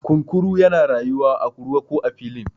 kunkuru yana rayuwa a ruwa ko a filin